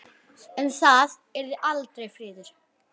Um það yrði aldrei friður!